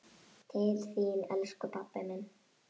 Til þín, elsku pabbi minn.